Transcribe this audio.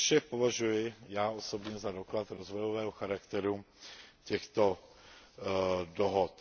To vše považuji já osobně za doklad rozvojového charakteru těchto dohod.